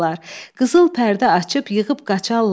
Qızıl pərdə açıb yığıb qaçarlar.